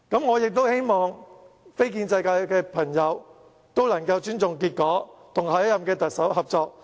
我亦希望非建制派朋友能夠尊重結果，與下任特首合作。